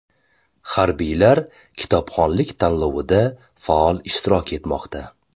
Harbiylar kitobxonlik tanlovida faol ishtirok etmoqda .